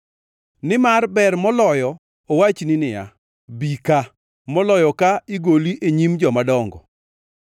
nimar ber moloyo owachni niya, “Bi ka,” moloyo ka igoli e nyim jomadongo.